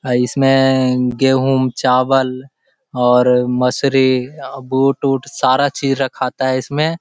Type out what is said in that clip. आ इसमें गेहूँ चावल और मसूरी अ बूट-उट सारा चीज रखाता है इसमें।